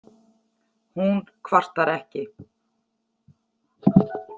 Hún kvartar ekki.